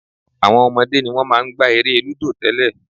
Àwọn ọmọdé ni wọ́n máa ń gbá eré lúdò tẹ́lẹ̀